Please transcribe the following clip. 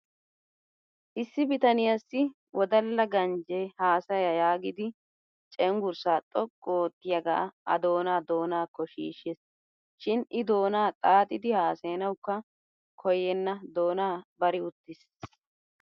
Issi bitaniyaassi wodalaganjjee haasaya yaagidi cenggurssaa xoqqu oottiyaagaa a doonaa doonaakko shiishshis. Shin I doonaa xaaxidi haasayanawukka koyyenna doonaa bari uttis